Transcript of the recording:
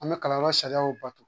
An bɛ kalanyɔrɔ sariyaw bato